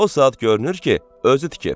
O saat görünür ki, özü tikib.